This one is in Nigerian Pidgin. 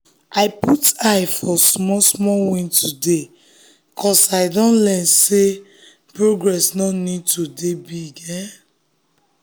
i put eye for small small win today ‘cause i don learn sey progress no need to dey big.